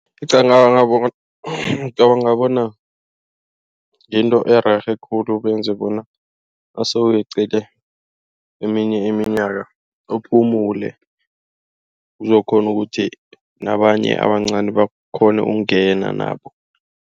Ngicabanga bona yinto ererhe khulu benze bona nase uyeqile eminye iminyaka uphumule. Kuzokukghona ukuthi nabanye abancani bakghone ukungena nabo.